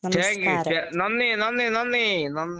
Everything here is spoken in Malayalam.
Thank you. താ നന്ദി, നന്ദി, നന്ദി, നന്ദി ന